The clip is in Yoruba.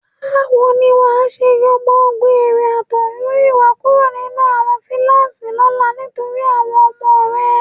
Báwo ni wà á ṣe yọ gbogbo eré àtọ̀húnrìnwá kúrò nínú fúláàṣì lọ́la nítorí àwọn ọmọ rẹ?